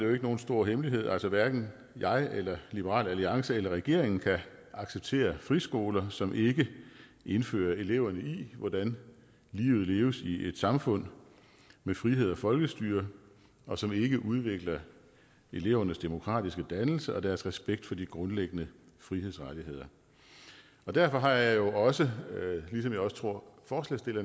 jo ikke nogen stor hemmelighed at hverken jeg eller liberal alliance eller regeringen kan acceptere friskoler som ikke indfører eleverne i hvordan livet leves i et samfund med frihed og folkestyre og som ikke udvikler elevernes demokratiske dannelse og deres respekt for de grundlæggende frihedsrettigheder derfor har jeg jo også ligesom jeg også tror